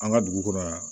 An ka dugu kɔnɔ yan